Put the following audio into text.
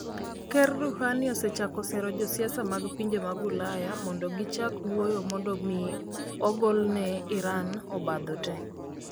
Ker Rouhani osechako sero josiasa mag pinje mag Ulaya mondo gi chak wuoyo mondo mi ogolne Iran obadho tee